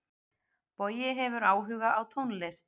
Bogi hefur áhuga á tónlist.